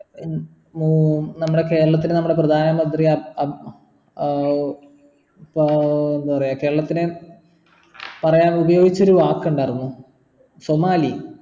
ഹും ഉം നമ്മൾടെ കേരളത്തിൽ നമ്മടെ പ്രധാന മന്ത്രി അബ് ആഹ് ഏർ എന്താ പറയാ കേരളത്തിനെ പറയാൻ ഉപയോഗിച്ചൊരു വാക്കുണ്ടാർന്നു സോമാലി